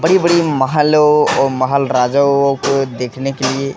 बड़ी-बड़ी महलों अ महल राजाओं को देखने के लिए --